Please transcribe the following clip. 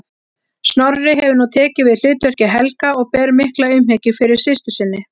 Snorri hefur nú tekið við hlutverki Helga og ber mikla umhyggju fyrir systur sinni.